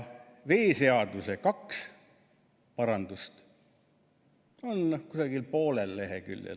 Veeseaduse kaks parandust on kusagil poolel leheküljel.